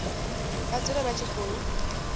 vha dzule vha tshi khou